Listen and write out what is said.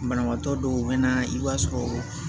Banabaatɔ dɔw bɛ na i b'a sɔrɔ